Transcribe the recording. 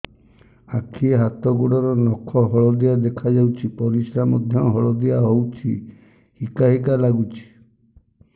ଆଖି ହାତ ଗୋଡ଼ର ନଖ ହଳଦିଆ ଦେଖା ଯାଉଛି ପରିସ୍ରା ମଧ୍ୟ ହଳଦିଆ ହଉଛି ହିକା ହିକା ଲାଗୁଛି